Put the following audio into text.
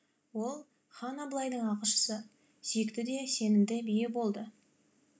ол хан абылайдың ақылшысы сүйікті де сенімді биі болды